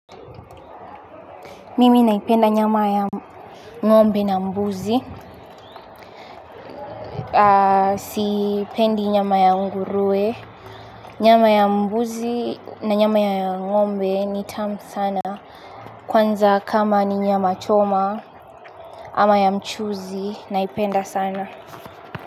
Mimi naipenda nyama ya ngombe na mbuzi. Sipendi nyama ya nguruwe. Nyama ya mbuzi na nyama ya ngombe ni tamu sana. Kwanza kama ni nyama choma ama ya mchuzi naipenda sana.